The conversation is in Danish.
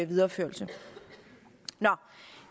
videreførelse